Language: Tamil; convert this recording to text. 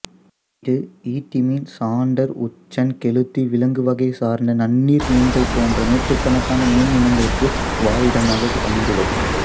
இது ஈட்டிமீன் சாந்தர் உச்சன் கெளுத்தி விலாங்குவகை சார்ந்த நன்னீர் மீன்கள் போன்ற நூற்றுக்கணக்கான மீன் இனங்களுக்கு வாழிடமாக அமைந்துள்ளது